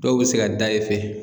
Dɔw bi se ka da e fɛ.